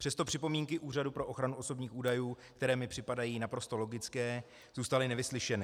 Přesto připomínky Úřadu pro ochranu osobních údajů, které mi připadají naprosto logické, zůstaly nevyslyšeny.